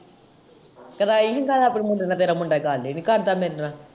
ਕਰਾਈ ਨੀ ਗੱਲ ਆਪਣੇ ਮੁੰਡੇ ਨਾਲ ਤੇਰਾ ਮੁੰਡਾ ਗੱਲ ਹੀ ਨੀ ਕਰਦਾ ਮੇਰੇ ਨਾਲ।